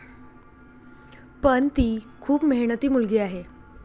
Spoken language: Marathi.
पण, ती खूप मेहनती मुलगी आहे.